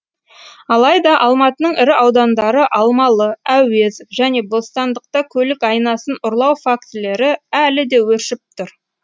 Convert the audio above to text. алайда алматының ірі аудандары алмалы әуезов және бостандықта көлік айнасын ұрлау фактілері әлі де өршіп тұр